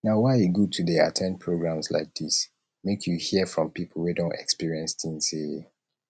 na why e good to dey at ten d programs like dis make you hear from people wey don experience things um